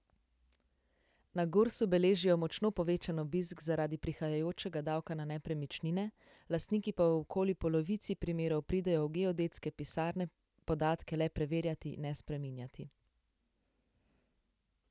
Na Gursu beležijo močno povečan obisk zaradi prihajajočega davka na nepremičnine, lastniki pa v okoli polovici primerov pridejo v geodetske pisarne podatke le preverjati, ne spreminjati.